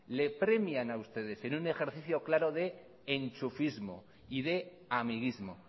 le premian ustedes en un ejercicio claro de enchufismo y de amiguismo